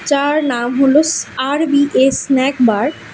তার নাম হলো স আর_বি_এ স্ন্যাক বার ।